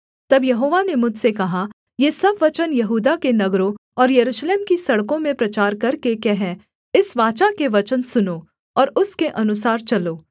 तब यहोवा ने मुझसे कहा ये सब वचन यहूदा के नगरों और यरूशलेम की सड़कों में प्रचार करके कह इस वाचा के वचन सुनो और उसके अनुसार चलो